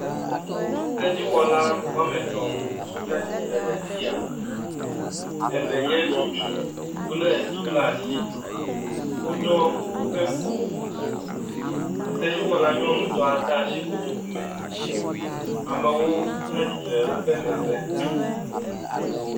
Sedziwɔ etɔ titre ɖe afi sia eve nye ŋutsu wole tu ɖe asi woɖɔ kuku esedziwɔla nyɔnutɔ de asi kotoku me amewo titre ɖe womegbe